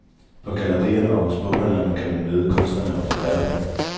På gallerierne og hos boghandlerne kan man møde kunstnerne og forfatterne.